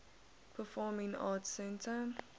performing arts center